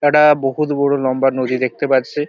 এটা বহুত বড় লম্বা নদী দেখতে পাচ্ছি।